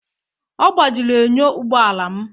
Ọ gbajiri enyo ụgbọ ala m